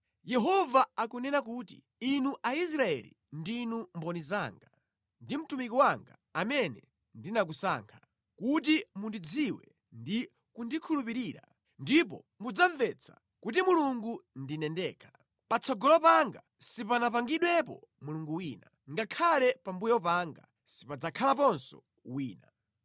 Yehova akunena kuti, “Inu Aisraeli ndinu mboni zanga, ndi mtumiki wanga amene ndinakusankha, kuti mundidziwe ndi kundikhulupirira, ndipo mudzamvetsa kuti Mulungu ndine ndekha. Patsogolo panga sipanapangidwepo mulungu wina, ngakhale pambuyo panga sipadzakhalaponso wina.”